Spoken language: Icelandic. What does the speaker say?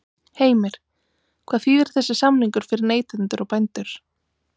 Heimir: Hvað þýðir þessi samningur fyrir neytendur og bændur?